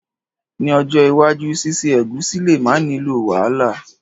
Ni ojó iwájú síse ẹ̀gúsí le ma nilo wàhálà